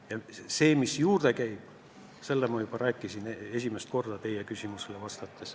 Ja kõigest, mis selle juurde käib, ma juba rääkisin esimest korda teie küsimusele vastates.